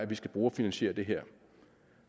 vi skal brugerfinansiere det her